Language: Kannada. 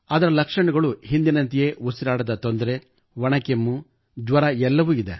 ಅದರ ಲಕ್ಷಣಗಳು ಹಿಂದಿನಂತೆಯೇ ಉಸಿರಾಟದ ತೊಂದರೆ ಒಣ ಕೆಮ್ಮು ಜ್ವರ ಎಲ್ಲವೂ ಇವೆ